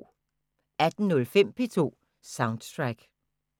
18:05: P2 Soundtrack